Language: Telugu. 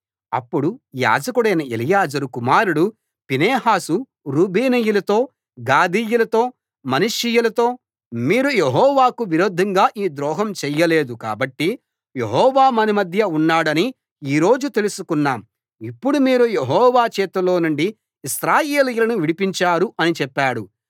అప్పుడు యాజకుడైన ఎలియాజరు కుమారుడు ఫీనెహాసు రూబేనీయులతో గాదీయులతో మనష్షీయులతో మీరు యెహోవాకు విరోధంగా ఈ ద్రోహం చేయలేదు కాబట్టి యెహోవా మన మధ్య ఉన్నాడని ఈ రోజు తెలుసుకున్నాం ఇప్పుడు మీరు యెహోవా చేతిలో నుండి ఇశ్రాయేలీయులను విడిపించారు అని చెప్పాడు